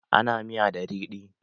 Ana miya da riɗi